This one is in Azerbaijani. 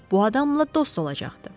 Bu adamla dost olacaqdı.